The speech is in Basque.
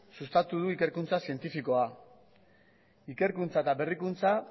sustatu du ikerkuntza zientifikoa ikerkuntza eta berrikuntza